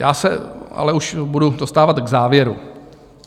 Já se ale už budu dostávat k závěru.